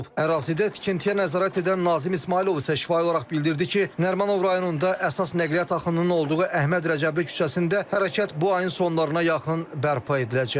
Ərazidə tikintiyə nəzarət edən Nazim İsmayılov isə şifahi olaraq bildirdi ki, Nərimanov rayonunda əsas nəqliyyat axınının olduğu Əhməd Rəcəbli küçəsində hərəkət bu ayın sonlarına yaxın bərpa ediləcək.